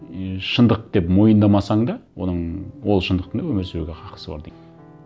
и шындық деп мойындамасаң да оның ол шындықтың да өмір сүруге хақысы бар дейді